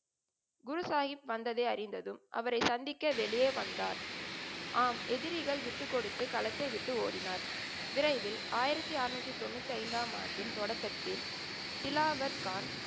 குருசாஹிப் வந்ததை அறிந்ததும் அவரை சந்திக்க வெளியே வந்தார். ஆம். எதிரிகள் விட்டுக்கொடுத்து களத்தை விட்டு ஓடினார். விரைவில் ஆயிரத்தி அறநூத்தி தொண்ணூத்தி ஐந்தாம் ஆண்டின் தொடக்கத்தில் திலாவர் கான்,